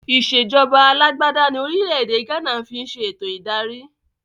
Ìsèjọba alàgbàda ní orílẹ̀ èdè gánà ń fi ń ṣe eto ìdarí